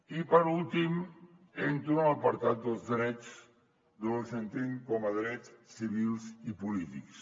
i per últim entro en l’apartat dels drets de lo que s’entén com a drets civils i polítics